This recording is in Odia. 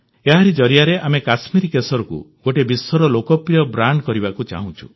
ଏହାରି ଜରିଆରେ ଆମେ କଶ୍ମୀରି କେଶରକୁ ଗୋଟିଏ ବିଶ୍ୱର ଲୋକପ୍ରିୟ ବ୍ରାଣ୍ଡ କରିବାକୁ ଚାହୁଁଛୁ